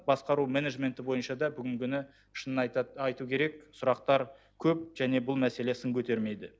басқару менеджменті бойынша да бүгінгі күні шынын айту керек сұрақтар көп және бұл мәселе сын көтермейді